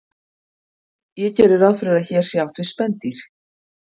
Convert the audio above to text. Ég geri ráð fyrir að hér sé átt við spendýr.